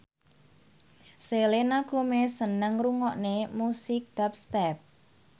Selena Gomez seneng ngrungokne musik dubstep